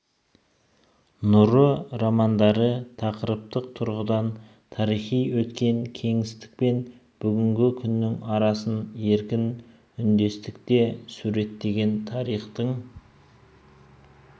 нұры романдары тақырыптық тұрғыдан тарихи өткен кеңістік пен бүгінгі күннің арасын еркін үндестікте суреттеген тарихтың